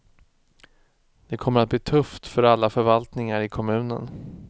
Det kommer att bli tufft för alla förvaltningar i kommunen.